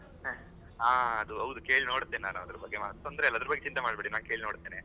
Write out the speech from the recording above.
ಹಾ ಅದು ಹೌದು ಕೇಳ್ ನೋಡತ್ತೇನೆ ಅದರ ಬಗ್ಗೆ ತೊಂದರೆ ಇಲ್ಲ ಅದರದ್ ಬಗ್ಗೆ ಚಿಂತೆ ಮಾಡ್ಬೇಡಿ ನಾ ಕೇಳ್ ನೋಡತ್ತೇನೆ.